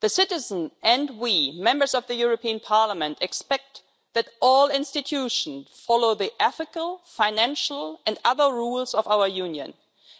The citizens and we, Members of the European Parliament, expect that all institutions follow the ethical, financial and other rules of our Union,